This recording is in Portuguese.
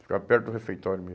Ficava perto do refeitório mesmo.